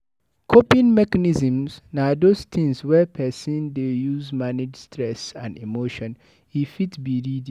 Coping mechnism na those things wey person dey use manage stress and emotion, e fit be reading